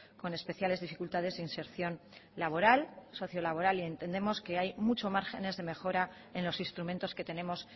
con especiales dificultades de inserción laboral socio laboral y entendemos que hay muchos márgenes de mejora en los instrumentos que tenemos